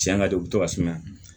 Tiɲɛ ka di u bɛ to ka sumaya